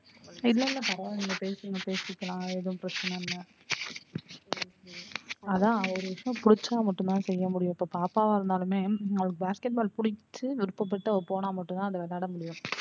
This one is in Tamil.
இல்ல இல்ல பரவாயில்ல பேசுங்க பேசிக்கலாம் அது எதும் பிரச்சன இல்ல அதான் ஒரு விஷயம் புடிச்சா மட்டும் தான் செய்ய முடியும் இப்ப பாப்பாவா இருந்தாலுமே அவ basket ball புடிச்சு விருப்பபட்டு அவ போன மட்டும் தான் விளையாட முடியும்.